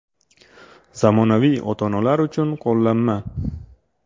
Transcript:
Zamonaviy ota-onalar uchun qo‘llanma.